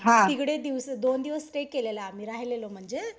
तिकडे दोन दिवस स्टे केलेलं आम्ही राहिलेलो म्हणजे